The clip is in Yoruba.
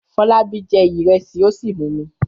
Fọlábí jẹ ìrẹsì ó sì mumi.